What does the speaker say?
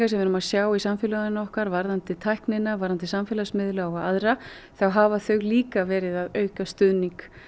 sem við erum að sjá í samfélaginu okkar varðandi tæknina varðandi samfélagsmiðla og aðra þá hafa þau líka verið að auka stuðning